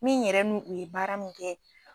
Min yɛrɛ n'u ye baara min kɛ